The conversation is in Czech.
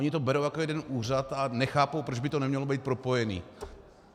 Oni to berou jako jeden úřad a nechápou, proč by to nemělo být propojené.